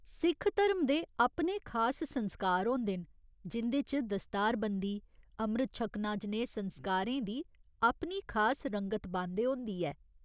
सिख धरम दे अपने खास संस्कार होंदे न जिं'दे च दस्तारबंदी, अमृत 'छकना' जनेह् संस्कारें दी अपनी खास रंगत बांदे होंदी ऐ।